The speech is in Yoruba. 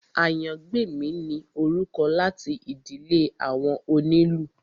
Àyàngbèmí ni orúkọ láti ìdílé àwọn onílù